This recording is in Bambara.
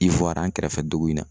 an kɛrɛfɛ dugu in na.